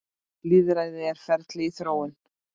Lýðræði er ferli í þróun.